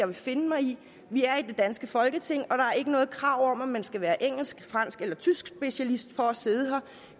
vil finde mig i vi er i det danske folketing og er ikke noget krav om at man skal være engelsk fransk eller tyskspecialist for at sidde her